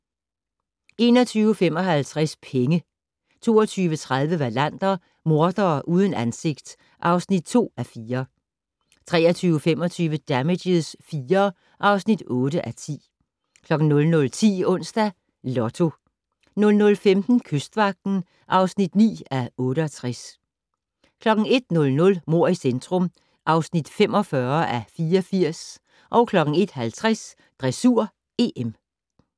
21:55: Penge 22:30: Wallander: Mordere uden ansigt (2:4) 23:25: Damages IV (8:10) 00:10: Onsdags Lotto 00:15: Kystvagten (9:68) 01:00: Mord i centrum (45:84) 01:50: Dressur: EM